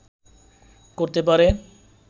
করতে পারে